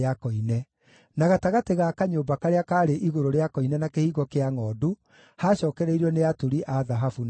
na gatagatĩ ga kanyũmba karĩa kaarĩ igũrũ rĩa koine na Kĩhingo kĩa Ngʼondu haacookereirio nĩ aturi a thahabu na onjorithia.